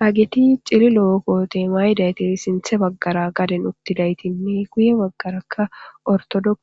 Haget cililo kote mayidayt sinthe bagara gaden utudayitinne guye bagaraka ortodox